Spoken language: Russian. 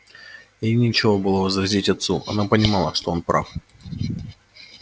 ей нечего было возразить отцу она понимала что он прав